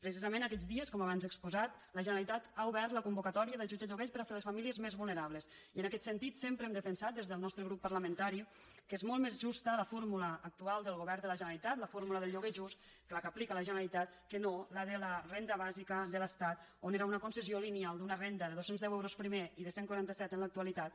precisament aquests dies com abans he exposat la generalitat ha obert la convocatòria d’ajuts a lloguers per a les famílies més vulnerables i en aquest sentit sempre hem defensat des del nostre grup parlamentari que és molt més justa la fórmula actual del govern de la generalitat la fórmula del lloguer just la que aplica la generalitat que no la de la renda bàsica de l’estat on era una concessió lineal d’una renda de dos cents euros primer i de cent i quaranta set en l’actualitat